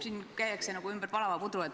Siin käiakse nagu ümber palava pudru.